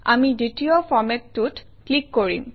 আমি দ্বিতীয় ফৰমেটটোত ক্লিক কৰিম